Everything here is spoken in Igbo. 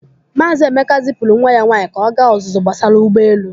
Maazị Emeka zipụrụ nwa ya nwaanyị ka ọ gaa ọzụzụ gbasara ụgbọelu.